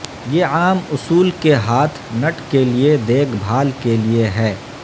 یہ عام اصول کے ہاتھ نٹ کے لئے دیکھ بھال کے لئے ہے